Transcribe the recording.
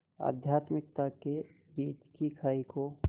आध्यात्मिकता के बीच की खाई को